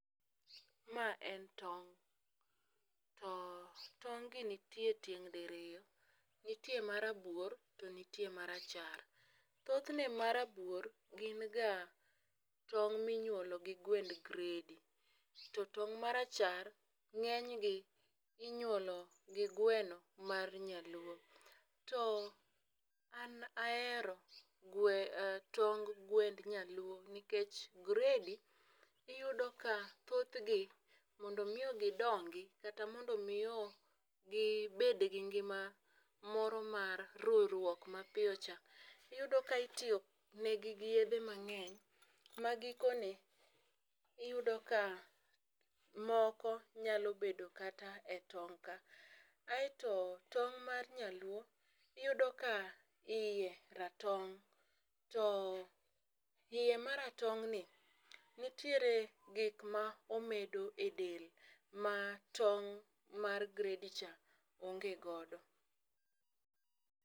Ma en tong'. To tong'gi nitie tieng' diriyo. Nitie ma rabuor to nitie ma rachar. Thothne ma rabuor gin ga tong' ma inyuolo gi gwend gredi , to tong' marachar ngénygi inyuolo gi gweno mar nyaluo. To an ahero tong gwend nyaluo, nikech gredi iyudo ka thothgi mondo miyo gidongi kata mondo miyo gibed gi ngima moro mar ruruok ma piyo cha, iyudo ka itiyonegi gi yiedhe mangény, ma gikone iyudo ka moko nyalo bedo kata e tong' ka. Kaeto, tong' mar nyaluo iyudo ka iye ratong' to iye maratong'ni nitiere gik ma omedo e del ma ting' mar gredi cha onge godo.